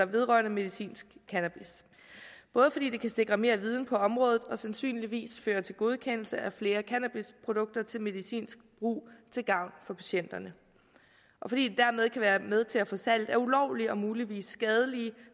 vedrørende medicinsk cannabis både fordi det kan sikre mere viden på området og sandsynligvis føre til godkendelse af flere cannabisprodukter til medicinsk brug til gavn for patienterne og fordi det dermed kan være med til at få salget af ulovlige og muligvis skadelige